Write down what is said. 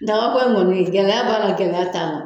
Dagako in gɛlɛya b'a gɛlɛya b'a la